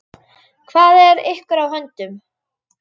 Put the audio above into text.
Hvað er ykkur á höndum?